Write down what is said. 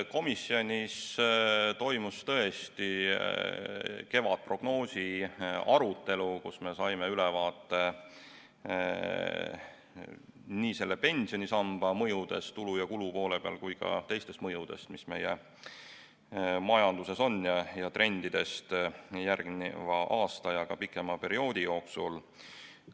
Komisjonis toimus tõesti kevadprognoosi arutelu, kus me saime ülevaate nii selle pensionisamba mõjudest tulude ja kulude poole pealt kui ka teistest mõjudest, mis meie majanduses on, ning trendidest järgneva aasta ja pikema perioodi jooksul.